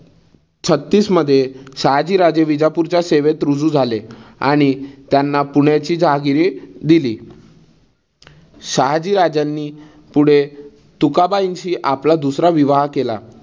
छत्तीस मध्ये शहाजीराजे विजापूरच्या सेवेत रुजू झाले आणि त्यांना पुण्याची जहागिरी दिली. शहाजी राजांनी पुढे तुकाबाईनशी आपला दुसरा विवाह केला.